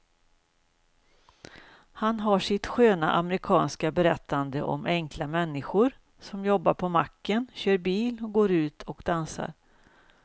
Han har sitt sköna amerikanska berättande om enkla människor som jobbar på macken, kör bil och går ut och dansar.